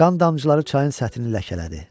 Qan damcıları çayın səthini ləkələdi.